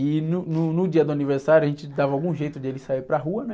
E no, no, no dia do aniversário, a gente dava algum jeito de ele sair para rua, né?